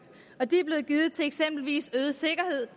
og de er blevet givet til eksempelvis øget sikkerhed